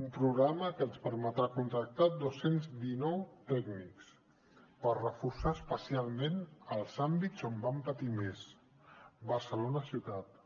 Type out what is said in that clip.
un programa que ens permetrà contractar dos cents i dinou tècnics per reforçar especialment els àmbits on vam patir més barcelona ciutat